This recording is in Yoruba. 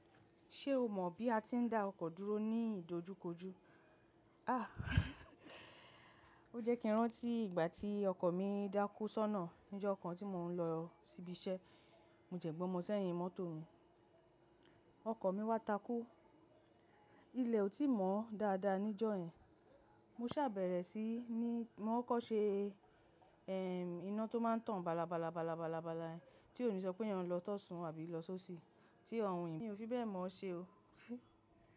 Ṣé o mọ̀ bí a ti ń dá ọkọ̀ dúró ní ìdojúkojú? Àh! Ó jẹ́ kí n rántí ìgbà tí ọkọ̀ mi dákú sọ́nà níjọ́ kan tí mò ń lọ síbi iṣẹ́. Mo dẹ́ gbọ́mọ sẹ́yìn mọ́tò mi, ọkọ̀ mi wá takú. Ilẹ̀ ò tí mọ́ dáadáa níjọ́ yẹn. Mo ṣàbẹ̀rẹ̀ sí i ní, mo kọkọ́ṣẹ́ ẹm iná tó máa ń tàn balabala balabala bala yẹn tí òní sọ pé èèyàn ló tọ sun àbí ló ṣó sì. Tí ọ̀run yìí mi ò fi bẹ́ẹ̀ mọ̀ ọ́ ṣe o.